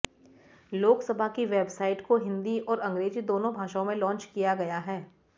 लोकसभा की वेबसाइट को हिंदी और अंग्रेजी दोनों भाषाओं में लांच किया गया है